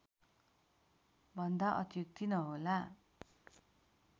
भन्दा अत्युक्ति नहोला